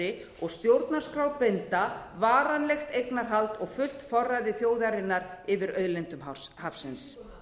sessi og stjórnarskrárbinda varanlegt eignarhald og fullt forræði þjóðarinnar yfir auðlindum hafsins